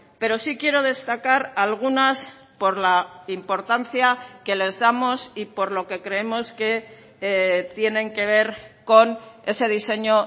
pero sí quiero destacar algunas por la importancia que les damos y por lo que creemos que tienen que ver con ese diseño